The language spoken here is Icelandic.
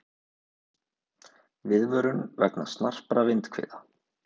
Viðvörun vegna snarpra vindhviða